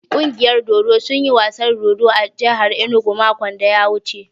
Ƙungiyar dodo sun yi wasan dodo a jahar inugu makon da ya wuce.